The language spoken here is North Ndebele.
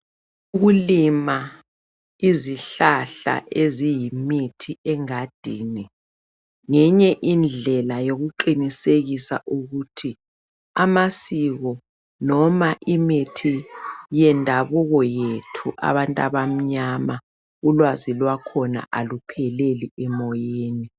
Ukulima izihlahla eziyimithi engadini ngeyinye indlela yokuqinisekisa ukuthi amasiko loma imithi yendabuko yethu abantu abamnyama ulwazi lwakhona alupheleli emoyeni